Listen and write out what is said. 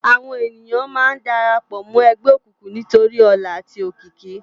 Àwón éniyán má n dàrâpò mò ègbè ókúkú nitóri òlá âti ókiki